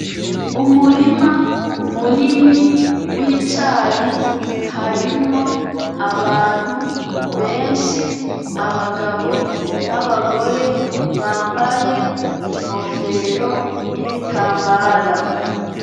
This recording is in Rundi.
Umurima munini wicayi harimo abantu benshi , abagabo nabagore bambaye inkofero nibitambara.